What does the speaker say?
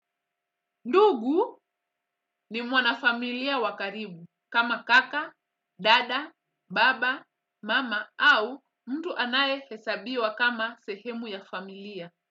Ndugu ni mwana familia wa karibu kama kaka, dada, baba, mama au mtu anayehesabiwa kama sehemu ya familia.